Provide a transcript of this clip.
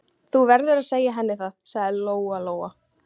Þú verður að segja henni það, sagði Lóa-Lóa.